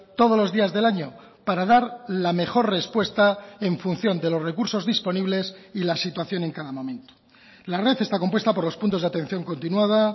todos los días del año para dar la mejor respuesta en función de los recursos disponibles y la situación en cada momento la red está compuesta por los puntos de atención continuada